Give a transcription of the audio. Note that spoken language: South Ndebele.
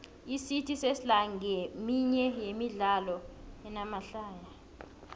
icity sesla nqeminye yemidlalo enamahlaya